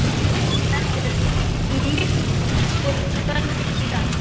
Hún verður myrk og köld í dag.